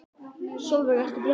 Sólveig: Ertu bjartsýnn?